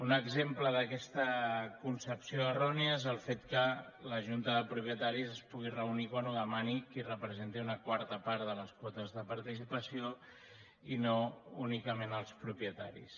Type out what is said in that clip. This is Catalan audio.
un exemple d’aquesta concepció errònia és el fet que la junta de propietaris es pugui reunir quan ho demani qui representi una quarta part de les quotes de participació i no únicament els propietaris